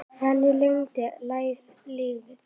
Hann lengi lifi.